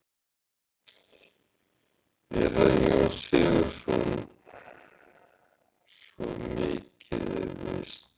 Ekki hann Jón Sigurðsson, svo mikið er víst.